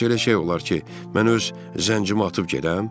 Heç elə şey olar ki, mən öz zəncimi atıb gedəm?